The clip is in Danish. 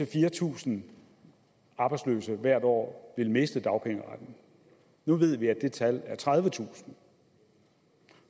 fire tusind arbejdsløse hvert år ville miste dagpengeretten nu ved vi at det tal er tredivetusind